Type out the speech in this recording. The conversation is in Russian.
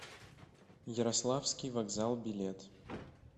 ярославский вокзал билет